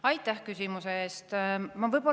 Aitäh küsimuse eest!